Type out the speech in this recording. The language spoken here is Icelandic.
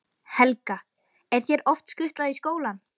Helga: Er þér oft skutlað í skólann?